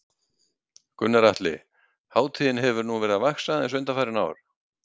Gunnar Atli: Hátíðin hefur nú verið að vaxa aðeins undanfarin ár?